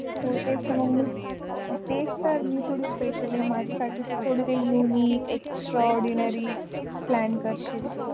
तेच तर मग मी थोडीस्पेसिअल ये माझ्यासाठी तू थोडं काही युनिक, एक्सट्रा ऑर्डीनरी प्लॅन करशील